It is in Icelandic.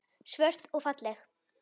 Svört og falleg.